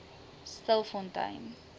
stilfontein